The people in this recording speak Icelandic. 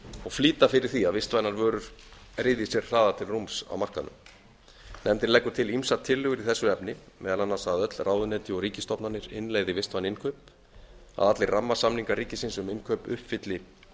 og flýta fyrir því að vistvænar vörur ryðji sér hraðar til rúms á markaðnum nefndin leggur til ýmsar tillögur í þessu efni meðal annars að öll ráðuneyti og ríkisstofnanir innleiði vistvæn innkaup að allir rammasamningar ríkisins um innkaup uppfylli